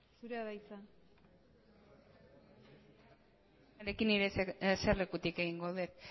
zurea da hitza zure baimenarekin eserlekutik egingo dut